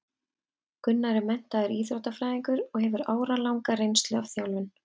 Gunnar er menntaður íþróttafræðingur og hefur áralanga reynslu af þjálfun.